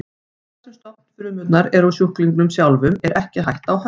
Þar sem stofnfrumurnar eru úr sjúklingnum sjálfum er ekki hætta á höfnun.